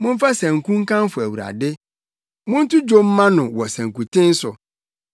Momfa sanku nkamfo Awurade; monto dwom mma no wɔ sankuten so.